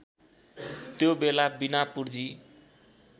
त्यो बेला बिना पुर्जी